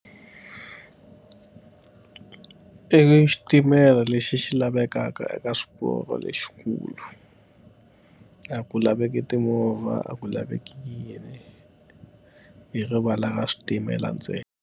I xitimela lexi xi lavekaka eka swiporo lexikulu, a ku laveki timovha a ku laveka yini. I rivala ka switimela ntsena.